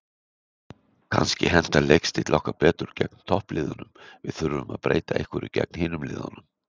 Kannski hentar leikstíll okkar betur gegn toppliðunum, við þurfum að breyta einhverju gegn hinum liðunum.